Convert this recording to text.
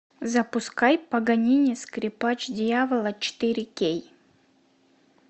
запускай паганини скрипач дьявола четыре кей